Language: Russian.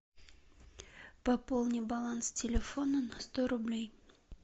пополни баланс телефона на сто рублей